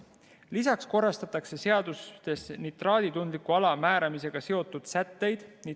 Lisaks korrastatakse seadustes nitraaditundliku ala määramisega seotud sätteid.